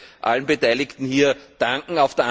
Ich möchte allen Beteiligten hier danken.